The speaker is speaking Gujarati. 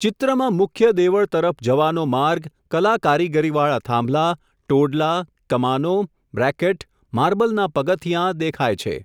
ચિત્રમાં મુખ્ય દેવળ તરફ જવાનો માર્ગ, કલા કારીગરીવાળા થાંભલા, ટોડલા, કમાનો, બ્રેકેટ, મારબલના પગથીયાં, દેખાય છે.